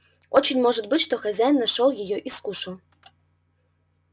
очень может быть что хозяин нашёл её и скушал